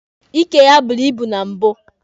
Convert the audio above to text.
Ike ya buru ibu na mbụ